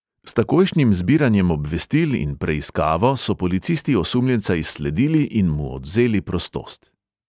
S takojšnjim zbiranjem obvestil in preiskavo so policisti osumljenca izsledili in mu odvzeli prostost.